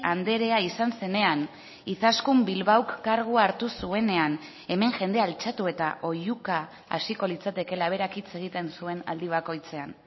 andrea izan zenean izaskun bilbaok kargua hartu zuenean hemen jendea altxatu eta oihuka hasiko litzatekeela berak hitz egiten zuen aldi bakoitzean